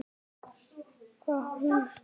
Hvar var hún stödd?